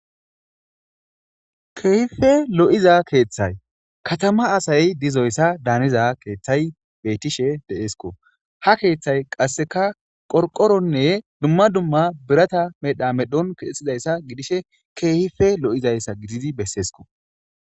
Kehippe lo'iza keththayi kattama asayi dizayisa daniza keththay bettehehe de'eskko ha keththay qasseka qorqqoroninne duma duma biratta medhdha madhon kexxizaysa gidishe kehippe lo'izayissa giddidi besesikko.